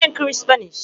Ọ bụ ihe nkiri Spanish